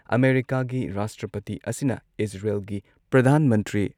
ꯑꯃꯦꯔꯤꯀꯥꯒꯤ ꯔꯥꯁꯇ꯭ꯔꯄꯇꯤ ꯑꯁꯤꯅ ꯏꯖꯔꯦꯜꯒꯤ ꯄ꯭ꯔꯙꯥꯟ ꯃꯟꯇ꯭ꯔꯤ